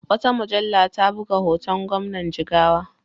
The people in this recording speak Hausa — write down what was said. Wata mujalla ta buga hoton Gwamnan Jigawa.